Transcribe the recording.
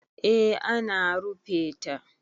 eh ana rufe ta